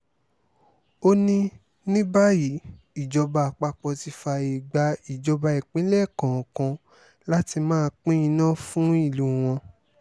ó ní ní báyìí ìjọba àpapọ̀ ti fààyè gba ìjọba ìpínlẹ̀ kọ̀ọ̀kan láti máa pín iná fún ìlú wọn